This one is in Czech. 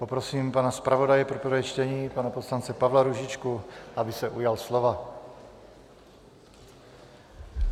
Poprosím pana zpravodaje pro prvé čtení pana poslance Pavla Růžičku, aby se ujal slova.